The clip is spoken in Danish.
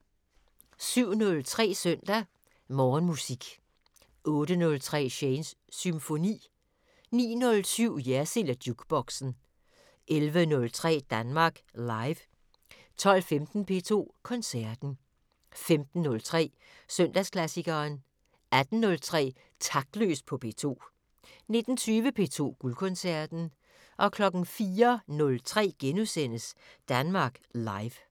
07:03: Søndag Morgenmusik 08:03: Shanes Symfoni 09:07: Jersild & Jukeboxen 11:03: Danmark Live 12:15: P2 Koncerten 15:03: Søndagsklassikeren 18:03: Taktløs på P2 19:20: P2 Guldkoncerten 04:03: Danmark Live *